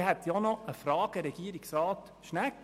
Ich habe auch noch eine Frage an Regierungsrat Schnegg.